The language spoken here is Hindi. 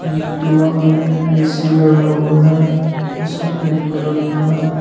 दीवाल में एक ए_सी लगा हुआ है जो सफेद कलर का है।